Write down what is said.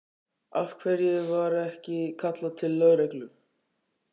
Af hverju var ekki kallað til lögreglu?